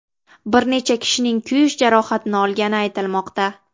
Bir necha kishining kuyish jarohatini olgani aytilmoqda.